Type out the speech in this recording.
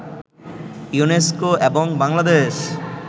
UNESCO এবং বাংলাদেশ